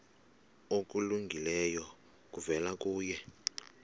okulungileyo kuvela kuye